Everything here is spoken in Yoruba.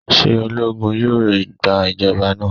Ṣe ologun yoo gba ijọba naa?